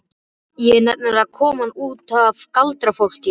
Ég er nefnilega komin út af galdrafólki.